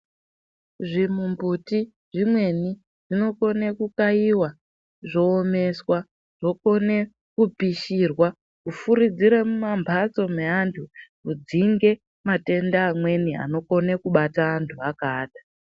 Zvimumbuti zvimweni zvinokone kukaiwa zvoomeswa zvokone kupishirwa kufurudzira mumamhatso meanhu kudzinge matenda amweni anokone kubata antu akaata.